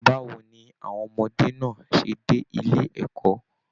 Báwo ní àwọn ọmọdé náà ṣe dé ilé ẹ̀kọ́?